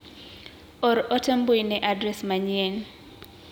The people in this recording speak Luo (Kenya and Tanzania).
Or ote mbui ne adres manyien.